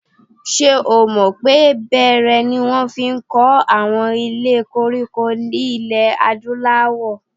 Ṣé o mọ̀ pé bẹẹrẹ ni wọ́n fi kọ́ àwọn ilé koríko ilẹ̀ Adúláwọ̀?